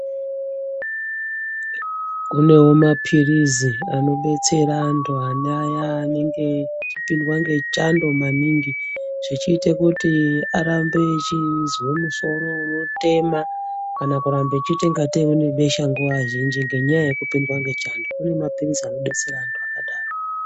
Kunewo maphirizi anobetsera antu aneaya anenge eipindwa ngechando maningi zvechiita Kuti arambe echizwe musoro unotema kana kuramba echiita kungatei une besha nguwa zhinji ngenyaya yekupindwa ngechando. Kune maphirizi anodetsera antu akadaro.